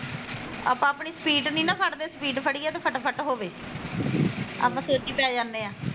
ਆਪਾਂ ਆਪਣੀ ਸਪੀਟ ਨੀ ਨਾ ਫੜਦੇ ਸਪੀਟ ਫੜੀਏ ਤੇ ਫਟਾ ਫੱਟ ਹੋਵੇ ਆਪਾਂ ਸੋਚੀ ਪੈ ਜਾਂਦੇ ਆ